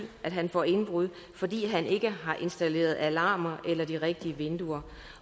at han får indbrud fordi han ikke har installeret alarmer eller de rigtige vinduer